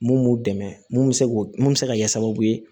Mun b'u dɛmɛ mun bɛ se k'o mun se ka kɛ sababu ye